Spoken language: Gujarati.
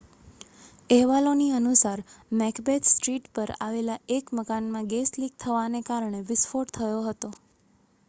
અહેવાલોની અનુસાર મેકબેથ સ્ટ્રીટ પર આવેલા એક મકાનમાં ગેસ લિક થવાને કારણે વિસ્ફોટ થયો હતો